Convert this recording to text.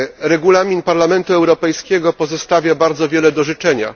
Regulamin Parlamentu Europejskiego pozostawia bardzo wiele do życzenia.